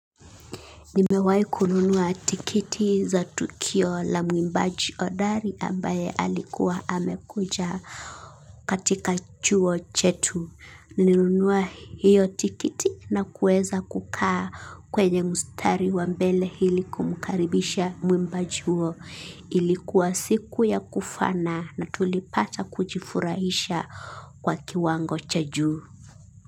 Nimewahikununua tikiti za tukio la mwimbaji hodari ambaye alikuwa amekuja katika chuo chetu. Nilinunua hiyo tikiti na kuweza kukaa kwenye mstari wambele ili kumkaribisha mwimbaji huyo. Ilikuwa siku ya kufana na tulipata kujifurahisha kwa kiwango chajuu.